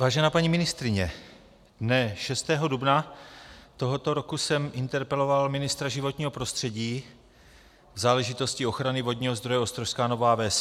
Vážená paní ministryně, dne 6. dubna tohoto roku jsem interpeloval ministra životního prostředí v záležitosti ochrany vodního zdroje Ostrožská Nová Ves.